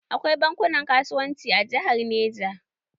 Akwai bankunan kasuwanci a jihar Neja.